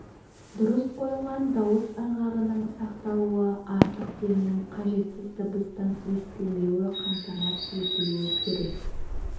дұрыс қойылған дауыс ырғағының сақталуы артық демнің қажетсіз дыбыстың естілмеуі қамтамасыз етілуі керек